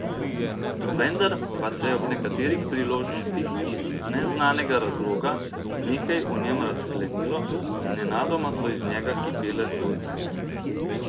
Vendar pa se je ob nekaterih priložnostih iz neznanega razloga nekaj v njem razklenilo in nenadoma so iz njega kipele zgodbe.